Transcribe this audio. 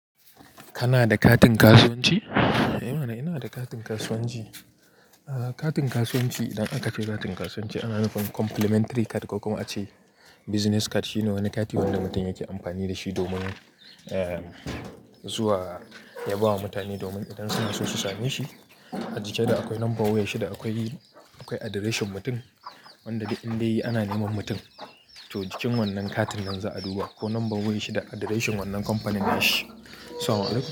Kana da katin kasuwanci? Eh mana ina da katin kasuwanci. Ah katin kasuwanci idan aka ce katin kasuwanci ana nufin complimentary card ko kuma a ce business card shine wani kati wanda mutum yake amfani da shi domin eh zuwa ya ba wa mutane domin idan suna so su same shi. A jiki da akwai number wayar shi da akwai, akwai addreshin mutum wanda duk indai ana neman mutum. To jikin wannan katin nan za a duba ko number wayar shi da addreshin wannan companin nashi. Salamu alaikum.